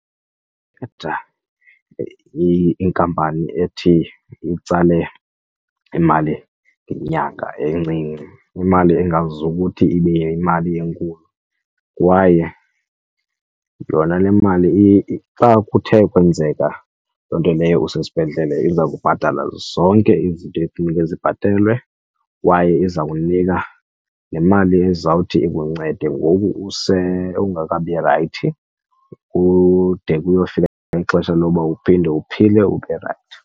Ndikhetha inkampani ethi itsale imali ngenyanga encinci, imali ungazuthi ibe yimali enkulu. Kwaye yona le mali xa kuthe kwenzeka loo nto leyo usesibhedlele iza kubhatalela zonke izinto efuneke zibhatelwe kwaye iza kunika le mali ezawuthi ikuncede ngoku ungekabi rayithi kude kuyofika ixesha loba uphinde uphile ube rayithi.